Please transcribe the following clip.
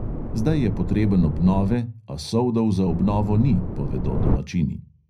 Zdaj je potreben obnove, a soldov za obnovo ni, povedo domačini.